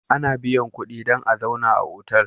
Ana biyan kudi dan a zauna a otal